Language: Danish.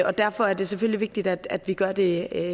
og derfor er det selvfølgelig vigtigt at vi gør det